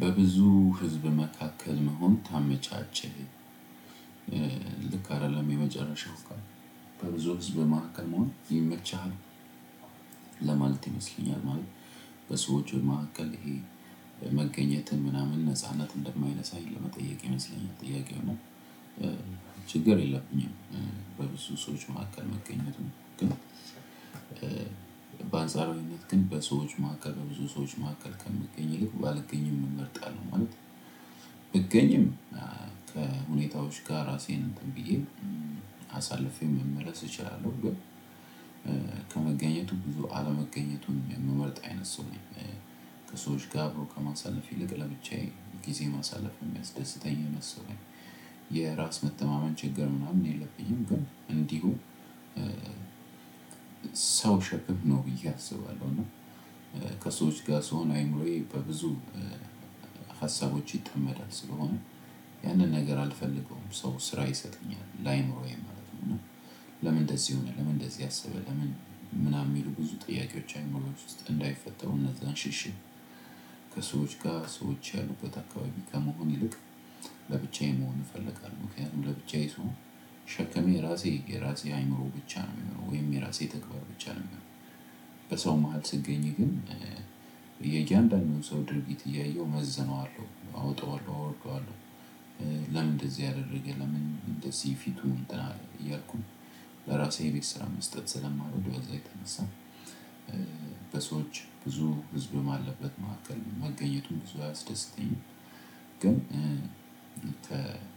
በብዙ ህዝብ መካከል መሆን ታመቻቸህ ልክ አይደለም የመጨረሻው ቃል? በብዙ ህዝብ መሐከል መሆን ይመችሃል? ይመስለኛል ማለት በሰዎች መካከል ይሄ መገኘትን ምናምን ነጻነት እንደማይነሳኝ ለመጠየቅ ይመስለኛል ጥያቄው እና ችግር የለብኝም። በብዙ ሰዎች መካከል መገኘቱ ግን በአንጻራዊነት ግን በሰዎች መካከል በብዙ ሰዎች መካከል ከምገኝ ይልቅ ባልገኝም እመርጣለሁ ማለት። ብገኝም ከሁኔታዎች ጋር ራሴን እንትን ብዬ አሳልፌ መመለስ እችላለሁ። ግን ከመገኘቱ ብዙ አለመገኘቱን የምመርጥ አይነት ሰው ነኝ። ከሰዎች ጋር አብሮ ከማሳለፍ ይልቅ ለብቻዬ ጊዜ ማሳለፍ የሚያስደስተኝ አይነት ሰው ነኝ። የራስ መተማመን ችግር ምናምን የለብኝም ግን እንዲሁ ሰው ሸክም ነው ብዬ አስባለሁ። እና ከሰዎች ጋር ስሆን አይምሮዬ በብዙ ሀሳቦች ይጠመዳል ስለሆነ ያንን ነገር አልፈልገውም። ሰው ስራ ይሰጠኛል ላይኖረኝ ማለት ነው። እና ለምን እንደዚህ ይሆናል ለምን እንደዚህ አሰበ ለምን ምናምን የሚሉ ብዙ ጥያቄዎች አእምሮዬ ውስጥ እንዳይፈጠሩ እነዛን ሽሽት። ከሰዎች ጋር ሰዎች ያሉበት አካባቢ ከመሆን ይልቅ ለብቻዬ መሆን እፈልጋለሁ። ምክንያቱም ለብቻዬ ስሆን ሸክሜ የራሴ የራሴ አእምሮ ብቻ ነው የሚሆነው ወይም የራሴ ተግባር ብቻ ነው የሚሆነው። በሰው መሃል ስገኝ ግን የእያንዳንዱን ሰው ድርጊት እያየሁ መዝነዋለሁ አወጣዋለሁ አወርደዋለሁ። ለምን እንደዚህ አደረገ ለምን እንደዚህ ፊቱን እንትን አለ እያልኩኝ ለራሴ የቤት ስራ መስጠት ስለማልወድ በዛ የተነሳ በሰዎች ብዙ ህዝብ ባለበት ማዕከል መገኘቱ ብዙ አያስደስተኝም። ግን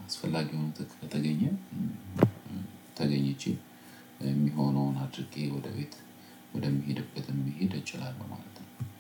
አስፈላጊ ሆኖ ከተገኘ ተገኝቼ የሚሆነውን አድርጌ ወደ ቤት ወደምሄድበትም መሄድ እችላለሁ። ማለት ነው